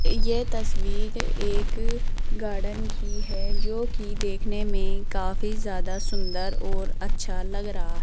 ये तस्वीर एक गार्डन की है जो की देखने में काफी ज्यादा सुंदर और अच्छा लग रहा।